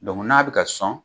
n'a bɛ ka sɔn.